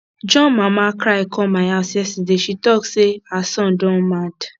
john mama cry come my house yesterday she talk say her son don mad